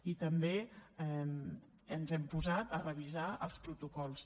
i també ens hem posat a revisar els protocols